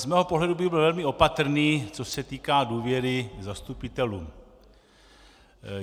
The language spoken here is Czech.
Z mého pohledu bych byl velmi opatrný, co se týká důvěry zastupitelů.